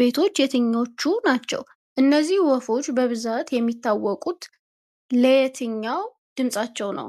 ቤቶች የትኞቹ ናቸው? እነዚህ ወፎች በብዛት የሚታወቁት ለየትኛው ድምፃቸው ነው?